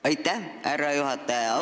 Aitäh, härra juhataja!